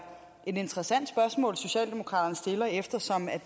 et interessant spørgsmål socialdemokraterne stiller eftersom